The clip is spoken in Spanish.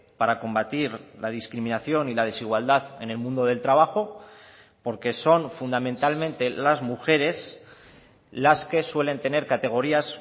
para combatir la discriminación y la desigualdad en el mundo del trabajo porque son fundamentalmente las mujeres las que suelen tener categorías